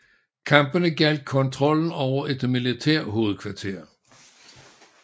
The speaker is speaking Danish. Kampene gjaldt kontrollen over et militærhovedkvarter